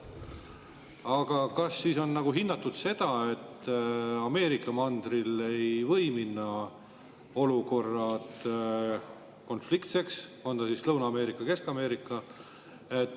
Aga kas on hinnatud, et Ameerika mandril ei või minna olukord konfliktseks, on see siis Lõuna-Ameerika või Kesk-Ameerika?